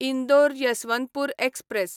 Indore Yesvantpur express